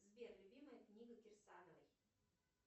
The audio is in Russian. сбер любимая книга кирсановой